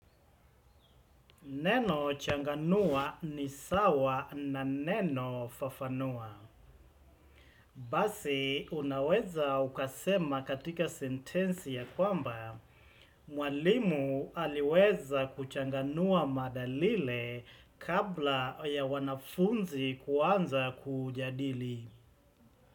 Neno changanua ni sawa na neno fafanua. Basi unaweza ukasema katika sentensi ya kwamba, mwalimu aliweza kuchanganua mada lile kabla ya wanafunzi kuanza kujadili.